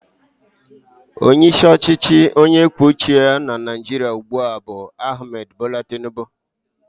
Onyeisi ọchịchị onye kwuo uche ya na Naịjirịa ugbu a bụ Ahmed bola Tinubu.